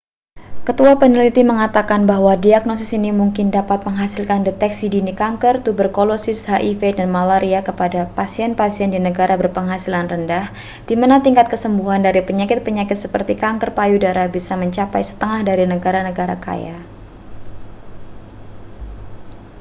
ketua peneliti mengatakan bahwa diagnosis ini mungkin dapat menghasilkan deteksi dini kanker tuberkulosis hiv dan malaria kepada pasien-pasien di negara berpenghasilan rendah di mana tingkat kesembuhan dari penyakit-penyakit seperti kanker payudara bisa mencapai setengah dari negara-negara kaya